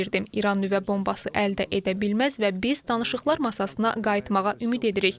İran nüvə bombası əldə edə bilməz və biz danışıqlar masasına qayıtmağa ümid edirik.